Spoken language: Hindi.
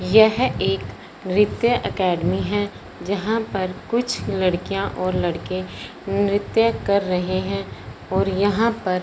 यह एक नृत्य एकेडमी हैं जहां पर कुछ लड़कियां और लड़के नृत्य कर रहें हैं और यहां पर--